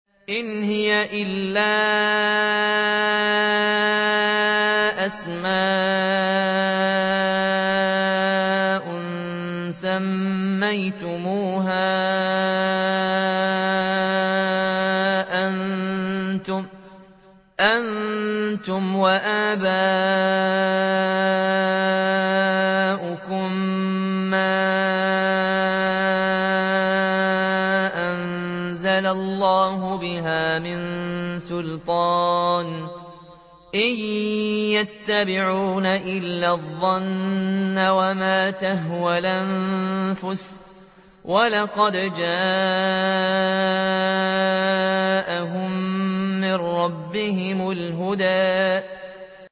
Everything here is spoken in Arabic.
إِنْ هِيَ إِلَّا أَسْمَاءٌ سَمَّيْتُمُوهَا أَنتُمْ وَآبَاؤُكُم مَّا أَنزَلَ اللَّهُ بِهَا مِن سُلْطَانٍ ۚ إِن يَتَّبِعُونَ إِلَّا الظَّنَّ وَمَا تَهْوَى الْأَنفُسُ ۖ وَلَقَدْ جَاءَهُم مِّن رَّبِّهِمُ الْهُدَىٰ